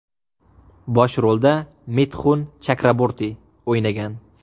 Bosh rolda Mitxun Chakraborti o‘ynagan.